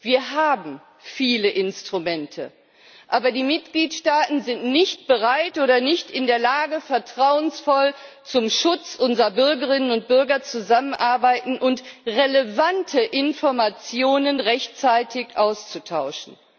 Wir haben viele Instrumente, aber die Mitgliedstaaten sind nicht bereit oder nicht in der Lage, vertrauensvoll zum Schutz unserer Bürgerinnen und Bürger zusammenzuarbeiten und relevante Informationen rechtzeitig auszutauschen.